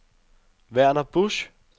Verner Busch